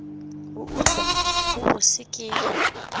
go utswa go bose ke